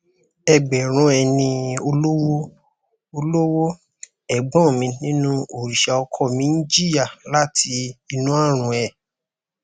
ẹgbẹrún ẹni olówó olówó ẹgbọn mi nínú òrìṣà ọkọ mi ń jìyà láti inú àrùn e